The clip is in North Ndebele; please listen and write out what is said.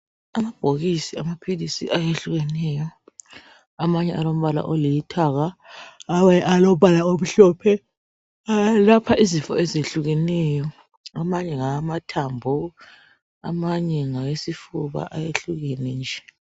Amabhokisi amaphilisi ayehlukeneyo amanye alombala olithanga amanye alombala omhlophe. Eyelapha izifo ezehlukeneyo amanye ngawamathambo amanye ngawesifuba ayehlukene nje.